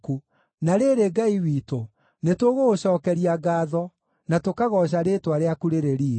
Na rĩrĩ, Ngai witũ, nĩtũgũgũcookeria ngaatho, na tũkagooca rĩĩtwa rĩaku rĩrĩ riiri.